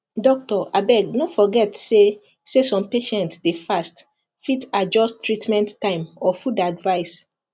doctor abeg no forget say say some patients dey fast fit adjust treatment time or food advice